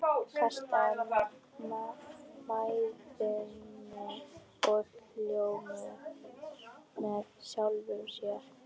Kastaði mæðinni og hló með sjálfum sér.